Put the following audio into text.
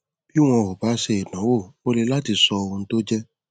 bí wọn ò bá ṣe ìdánwò ó le láti sọ ohun tó jẹ